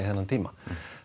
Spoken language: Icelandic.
þennan tíma